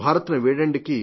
భారత్ ను వీడండి